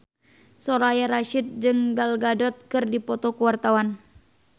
Soraya Rasyid jeung Gal Gadot keur dipoto ku wartawan